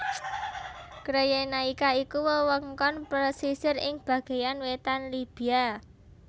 Cyrenaica iku wewengkon pesisir ing bagéyan wétan Libya